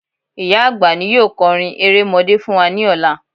Ìyá àgbà ni yóò kọrin erémọdé fún wa ní ọlá